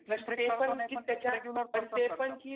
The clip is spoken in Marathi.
ते पण की त्याच्या ते पण